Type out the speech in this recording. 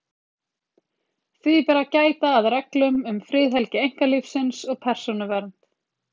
Því ber að gæta að reglum um friðhelgi einkalífsins og persónuvernd.